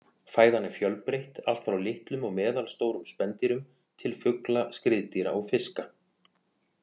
Fæðan er fjölbreytt, allt frá litlum og meðalstórum spendýrum til fugla, skriðdýra og fiska.